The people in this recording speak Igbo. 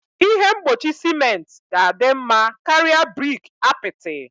Ihe mgbochi ciment ga-adị mma karịa brik apịtị